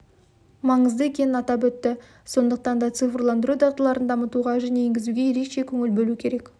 маңызды екенін атап өтті сондықтан да тыцифрландыру дағдыларын дамытуға және енгізуге ерекше көңіл бөлу керек